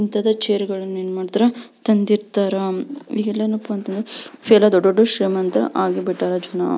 ಇಂಥದ chair ಗಳನ್ನ ಏನ್ ಮಾಡ್ತಾರೆ ತಂದಿರ್ತಾರ ಇವೆಲ್ಲ ಏನಪ್ಪಾ ಅಂತ ಅಂದ್ರೆ ತೀರಾ ದೊಡ್ಡ ದೊಡ್ಡ ಶ್ರೀಮಂತರು ಆಗಿಬಿಟ್ಟರ ಜನ.